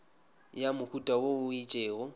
ya mohuta wo o itšego